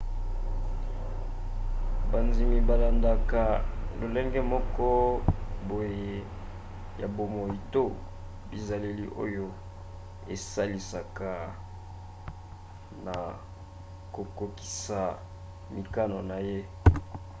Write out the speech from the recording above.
bandimi balandaka lolenge moko boye ya bomoi to bizaleli oyo esalisaka na kokokisa mikano na ye